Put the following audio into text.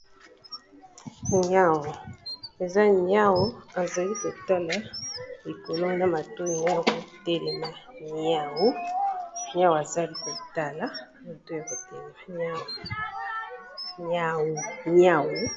Niau, eza niau azali kotala likolo na matoyi naye ya ko telema niau. Niau azali kotala matoyi ya ko telema niau.